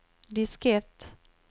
diskett